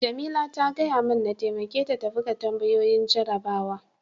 Jamila ta gaya mun n'taimake ta buga tambayoyin jarabawan.